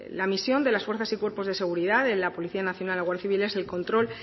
la misión de las fuerzas y cuerpos de seguridad de la policía nacional y guardia civil es el control